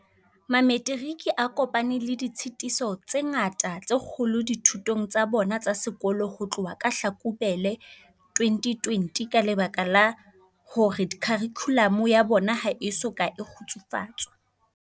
Mametiriki a kopane le ditshitiso tse ngata tse kgolo dithutong tsa bona tsa sekolo ho tloha ka Hlakubele 2020 ka lebaka la hore kharikhulamo ya bona ha e soka e kgutsufatswa.